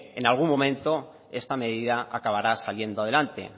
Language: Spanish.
en algún momento esta medida acabará saliendo adelante